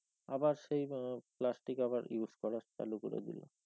আবার সেই plastic আবার use করা চালু করে দিল।